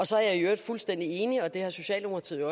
så er jeg i øvrigt fuldstændig enig og det har socialdemokratiet